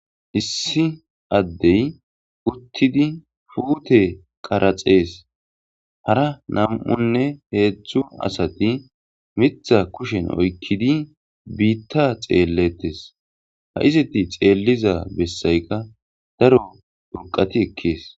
issi addey uttidi fuute qaraxees hara nam7unne heedzdzu asati mitha kushen oykkidi biitta xeelletes ha iziti xeelliza bessayka daro duqati ekkees